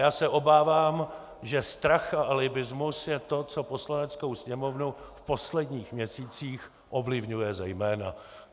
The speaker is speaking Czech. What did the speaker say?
Já se obávám, že strach a alibismus je to, co Poslaneckou sněmovnu v posledních měsících ovlivňuje zejména.